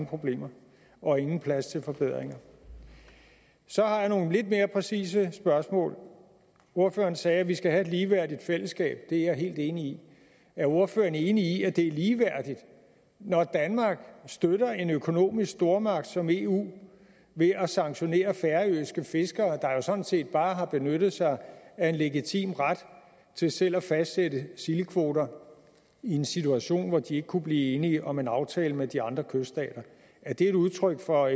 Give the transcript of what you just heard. problemer og ingen plads til forbedringer så har jeg nogle lidt mere præcise spørgsmål ordføreren sagde at vi skal have et ligeværdigt fællesskab det er jeg helt enig i er ordføreren enig i at det er ligeværdigt når danmark støtter en økonomisk stormagt som eu ved at sanktionere færøske fiskere der jo sådan set bare har benyttet sig af en legitim ret til selv at fastsætte sildekvoter i en situation hvor de ikke kunne blive enige om en aftale med de andre kyststater er det et udtryk for